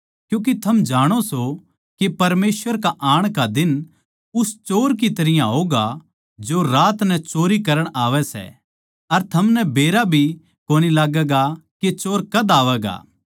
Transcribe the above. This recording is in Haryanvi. क्यूँके थम जाणो सों के परमेसवर के आण का दिन उस चोर की तरियां होगा जो रात नै चोरी करण आवै सै अर थमनै बेरा भी कोनी लाग्गैगा के चोर कद आवैगा